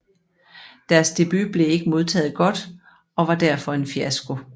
Deres debut blev ikke modtaget godt og var derfor en fiasko